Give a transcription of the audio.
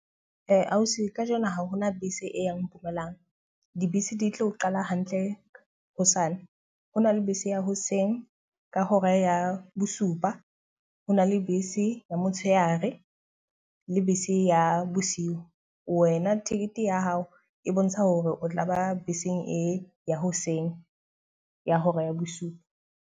Ausi ka jeno ha hona bese e yang Mpumalang. Dibese di tlo qala hantle hosane. Ho na le bese ya hoseng ka hora ya bosupa, ho na le bese ya motshehare le bese ya bosiu. Wena ticket ya hao e bontsha hore o tla ba beseng e ya hoseng ya hora ya bosupa.